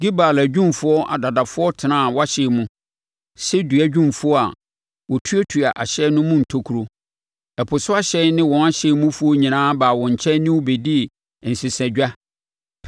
Gebal adwumfoɔ adadafoɔ tenaa wʼahyɛn mu sɛ dua dwumfoɔ a wɔtuatua ahyɛn no mu ntokuro. Ɛpo so ahyɛn ne wɔn hyɛn mufoɔ nyinaa baa wo nkyɛn ne wo bɛdii nsesadwa.